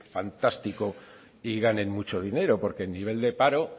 fantástico y ganen mucho dinero porque el nivel de paro